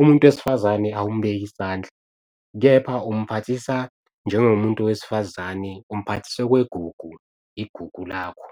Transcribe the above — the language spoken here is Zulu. umuntu wesifazane awumubeki isandla, kepha umphathisa njengomuntu wesifazane umphathisa okwegugu, igugu lakho.